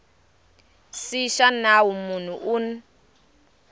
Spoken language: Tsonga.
c xa nawu munhu un